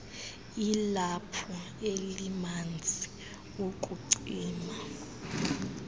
ilaphu elimanzi ukucima